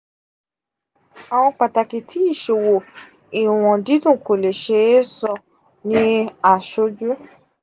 awọn pataki ti iṣowo iwọn didun ko le se e so ni asoju.